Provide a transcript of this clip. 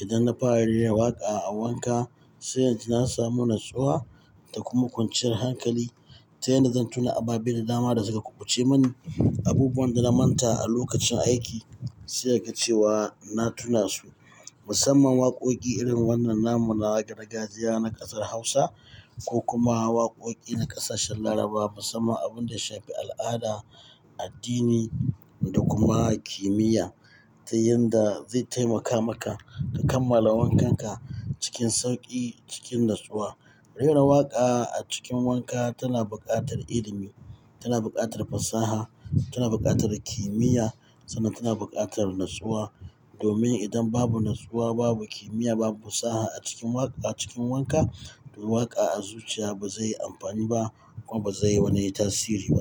Idan na fara rera waƙa a wanka, sai na samu natsuwa da kuma kwanciyar hankali, ta yadda zan tuna ababe da dama da suka kubuce mani, abubuwan da na manta a lokacin aiki, sai kaga cewa na tuna su. Musamman waƙoƙi irin wannan namu na gargajiya na ƙasar Hausa ko kuma waƙoƙi na ƙasashen Larabawa. Musamman abun da ya shafi al'ada, addini da kuma kimiyya, ta yadda zai taimaka maka ka kammala wankanka cikin sauƙi cikin natsuwa. Rera waƙa a cikin wanka tana buƙatar ilimi, tana buƙatar fasaha, tana buƙatar kimiyya sannan tana buƙatar natsuwa. Domin idan babu natsuwa, babu kimiyya, babu fasaha a cikin waƙa cikin wanka, to waƙa a zuciya ba zai yi amfani ba kuma ba zai yi wani tasiri ba.